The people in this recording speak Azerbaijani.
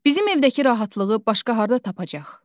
Bizim evdəki rahatlığı başqa harda tapacaq?